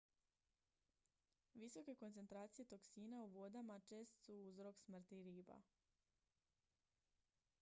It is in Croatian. visoke koncentracije toksina u vodama čest su uzrok smrti riba